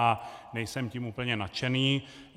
A nejsem tím úplně nadšený.